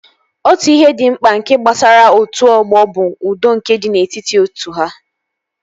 Otu ihe dị mkpa nke gbasara otu ọgbọ bụ udo nke dị n'etiti otu ha